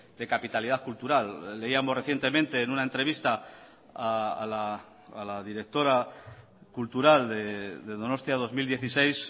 de capitalidad cultural leíamos recientemente en una entrevista a la directora cultural de donostia dos mil dieciséis